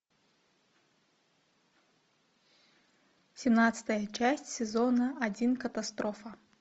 семнадцатая часть сезона один катастрофа